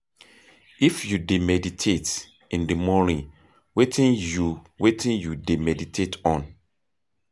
If you dey meditate in di morning, wetin you wetin you dey meditate on?